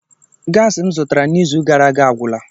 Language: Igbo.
Gasi m zụtara n'izu gara aga agwụla.